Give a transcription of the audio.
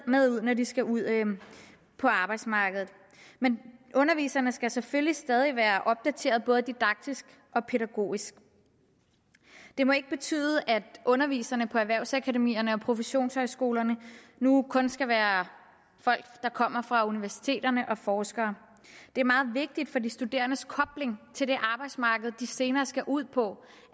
med ud når de skal ud på arbejdsmarkedet men underviserne skal selvfølgelig stadig være opdateret både didaktisk og pædagogisk det må ikke betyde at underviserne på erhvervsakademierne og professionshøjskolerne nu kun skal være folk der kommer fra universiteterne og forskere det er meget vigtigt for de studerendes kobling til det arbejdsmarked de senere skal ud på